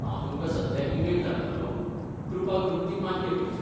हांव तुमकां सध्या ईमेल धाडटलो. कृपा करून ती मान्य करची.